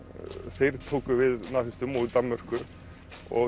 þeir tóku við nasistum og í Danmörku